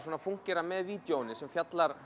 fúnkerar með vídeóinu sem fjallar